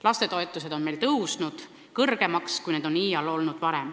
Lastetoetused on meil tõusnud nii kõrgele, nagu need iial varem olnud pole.